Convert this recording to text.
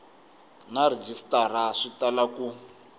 na rhejisitara swi tala ku